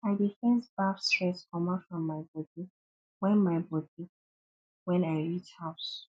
i dey first baff stress comot from my bodi wen my bodi wen i reach house